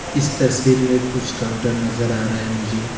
इस तस्वीर में कुछ काउंटर नजर आ रहा है मुझे।